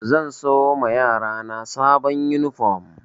Zan siyo ma yarana sabon yunifom